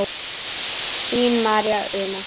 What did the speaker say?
Þín María Una.